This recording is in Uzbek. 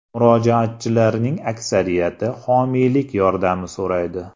Murojaatchilarning aksariyati homiylik yordami so‘raydi.